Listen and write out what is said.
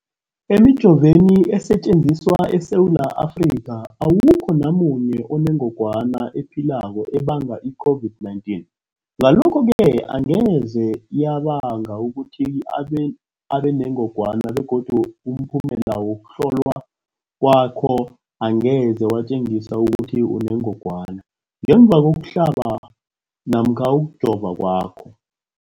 Emijoveni esetjenziswa eSewula Afrika, awukho namunye onengog wana ephilako ebanga i-COVID-19. Ngalokho-ke angeze yabanga ukuthi ubenengogwana begodu umphumela wokuhlolwan kwakho angeze watjengisa ukuthi unengogwana ngemva kokuhlaba namkha kokujova kwakho.